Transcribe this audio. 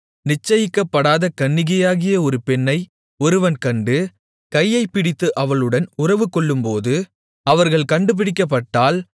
நிச்சயிக்கப்படாத கன்னிகையாகிய ஒரு பெண்ணை ஒருவன் கண்டு கையைப் பிடித்து அவளுடன் உறவுகொள்ளும்போது அவர்கள் கண்டுபிடிக்கப்பட்டால்